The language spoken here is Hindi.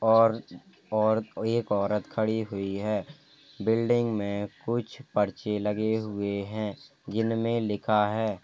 और और कोई एक औरत खड़ी हुई है। बिल्डिंग में कुछ पर्चे लगे हुए हैं जिनमें लिखा है --